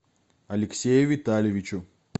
алексею витальевичу